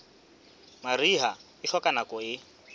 mariha e hloka nako e